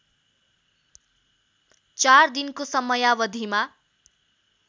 चार दिनको समयावधिमा